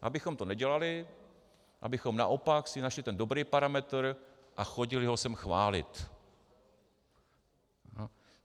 Abychom to nedělali, abychom naopak si našli ten dobrý parametr a chodili ho sem chválit.